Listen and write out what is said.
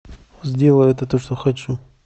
сделай это то что хочу